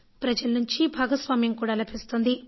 ప్రజల నుంచి భాగస్వామ్యం కూడా లభిస్తోంది